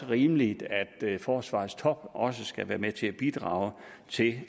rimeligt at forsvarets top også skal være med til at bidrage til